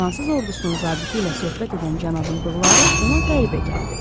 Fransız ordusunun zabiti ilə söhbət edən cənabın bığları ona qəribə gəldi.